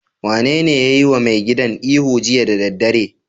Wanene ya yiwa mai gadin ihu jiya da daddare?